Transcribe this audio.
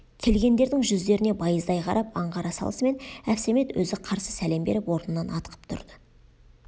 келгендердің жүздеріне байыздай қарап аңғара салысымен әбсәмет өзі қарсы сәлем беріп орнынан атқып тұрды